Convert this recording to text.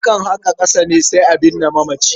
Akan haƙa ƙasa ne sai a binne mamaci.